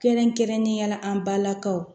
Kɛrɛnkɛrɛnnenya la an balakaw